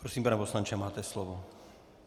Prosím, pane poslanče, máte slovo.